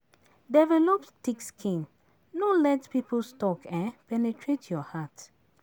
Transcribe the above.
Develop thick skin, no let people's talk penetrate your heart.